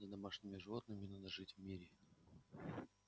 с домашними животными надо жить в мире